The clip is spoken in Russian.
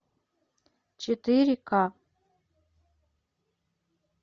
четыре ка